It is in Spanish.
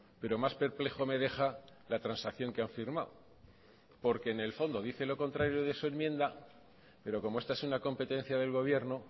pero más perplejo me deja la transacción que han firmado porque en el fondo dice lo contrario de su enmienda pero como esta es una competencia del gobierno